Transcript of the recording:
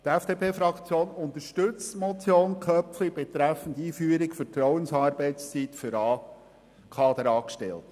DieFDP-Fraktion unterstützt die Motion Köpfli betreffend Einführung der Vertrauensarbeitszeit für Kaderangestellte.